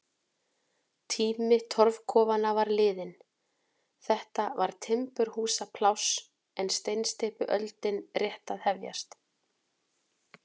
Tími torfkofanna var liðinn, þetta var timburhúsapláss en steinsteypuöldin rétt að hefjast.